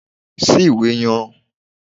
Ṣí ìwé yan